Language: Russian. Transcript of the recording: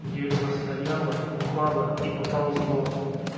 дерево стояло упало и поползло